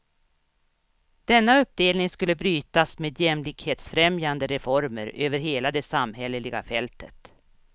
Denna uppdelning skulle brytas med jämlikhetsfrämjande reformer över hela det samhälleliga fältet.